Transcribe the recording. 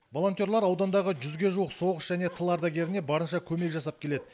волонтерлар аудандағы жүзге жуық соғыс және тыл ардагеріне барынша көмек жасап келеді